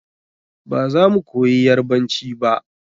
Ba za mu koyi yarbanci ba.